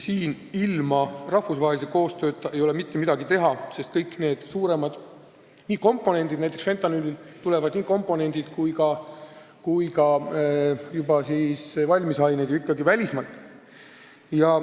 Siin ei ole ilma rahvusvahelise koostööta mitte midagi teha, sest näiteks tulevad nii fentanüüli komponendid kui ka valmisaine ju ikkagi välismaalt.